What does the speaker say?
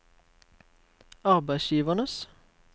arbeidsgivernes